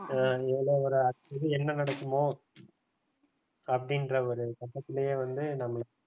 அடுத்தது என்ன நடக்குமோ அப்படின்ற ஒரு கட்டத்திலேயே வந்து நம்மள